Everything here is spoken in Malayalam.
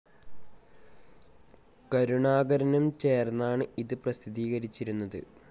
കരുണാകരനും ചേർന്നാണ് ഇത് പ്രസിദ്ധീകരിച്ചിരുന്നത്